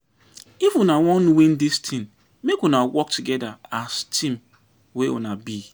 If una wan win dis tin, make una work togeda as team wey una be.